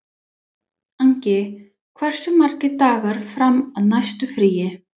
Angi, hversu margir dagar fram að næsta fríi?